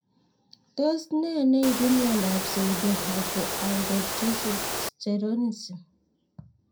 Tos nee neioaru miondop Pseudohypoaldosteronism